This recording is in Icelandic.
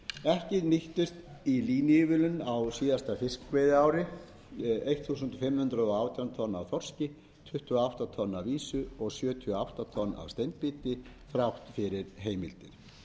ekki nýttust í línuívilnun á síðasta fiskveiðiári fimmtán hundruð og átján tonn af þorski tuttugu og átta tonn af ýsu og sjötíu og átta tonn af steinbít þrátt fyrir